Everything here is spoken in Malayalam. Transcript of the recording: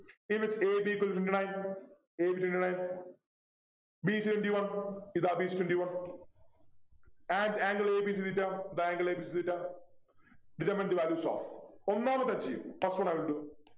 If it's a b equal to nine a b equal to nine b c twenty one ഇതാ b c twenty one And angle abc theta ഇതാ angle abc theta ഒന്നാമത് ഞാൻ ചെയ്യും First one I will do